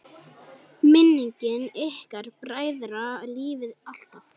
Minning ykkar bræðra lifir alltaf!